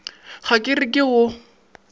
ga ke re ke go